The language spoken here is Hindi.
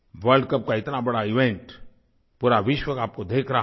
वर्ल्ड कप का इतना बड़ा इवेंट पूरा विश्व आपको देख रहा हो